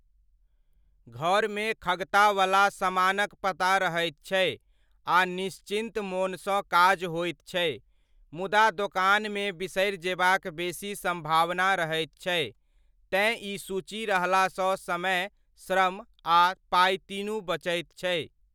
घरमे खगतावला समानक पता रहैत छै आ निश्चिन्त मोनसँ काज होइत छै, मुदा दोकानमे बिसरि जेबाक बेसी सम्भावना रहैत छै, तेँ ई सूची रहला सऽ समय, श्रम आ पाइ तीनू बचैत छै।